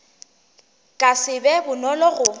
ka se be bonolo go